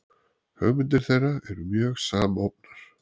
hugmyndir þeirra eru mjög samofnar